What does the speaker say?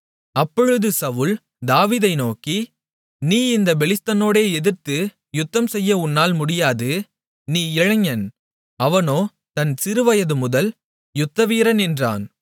அப்பொழுது சவுல் தாவீதை நோக்கி நீ இந்தப் பெலிஸ்தனோடே எதிர்த்து யுத்தம்செய்ய உன்னால் முடியாது நீ இளைஞன் அவனோ தன் சிறுவயது முதல் யுத்தவீரன் என்றான்